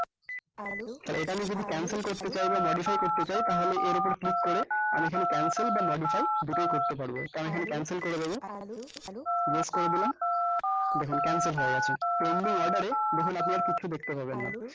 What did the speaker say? so এটা আমি যদি cancel করতে চাই বা modify করতে চাই তাহলে এর উপর এ click করে আমি এখানে cancel বা modify দুটোই করতে পারবো তো আমি এখানে cancel করে দেব yes করে দিলাম দেখুন cancel হয়ে গেছে pending অর্ডার এ দেখুন আপনি আর কিচ্ছু দেখতে পাবেন না